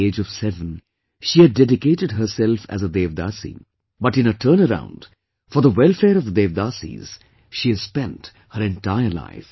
At the age of seven she had dedicated herself as a Devadasi but in a turnaround, for the welfare of the Devdasis, she has spent her entire life